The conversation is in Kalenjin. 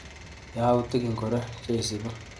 Yautik ingoro cheisupi?